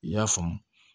I y'a faamu